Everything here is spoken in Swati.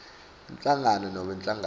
inhlangano nobe inhlangano